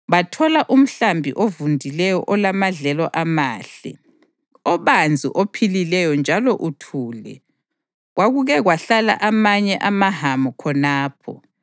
Bathola umhlaba ovundileyo olamadlelo amahle, obanzi ophilileyo njalo uthule. Kwakuke kwahlala amanye amaHamu khonapho.